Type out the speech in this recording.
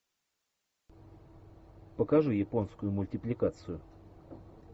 покажи японскую мультипликацию